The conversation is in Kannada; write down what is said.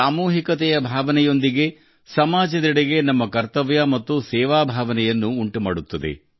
ಸಾಮೂಹಿಕತೆಯ ಭಾವನೆಯೊಂದಿಗೆ ಸಮಾಜದೆಡೆಗೆ ನಮ್ಮ ಕರ್ತವ್ಯ ಮತ್ತು ಸೇವೆ ಭಾವನೆಯನ್ನು ಇದು ನಮ್ಮಲ್ಲಿ ಉಂಟು ಮಾಡುತ್ತದೆ